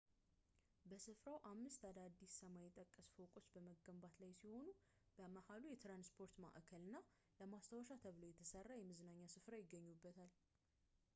በስፍራው አምስት አዳዲስ ሰማይ ጠቀስ ፎቆች በመገንባት ላይ ሲሆኑ በመሀከሉ የትራንስፖርት ማዕከል እና ለማስታወሻ ተብሎ የተሰራ የመዝናኛ ስፍራ ይገኙበታል